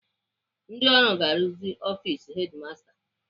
Ndị ọrụ ga-arụzi ọfis hedimasta